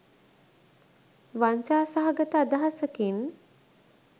වංචා සහගත අදහසකින්